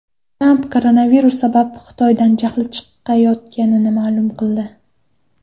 Tramp koronavirus sabab Xitoydan jahli chiqayotganini ma’lum qildi.